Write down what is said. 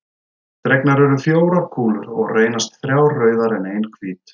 Dregnar eru fjórar kúlur og reynast þrjár rauðar en ein hvít.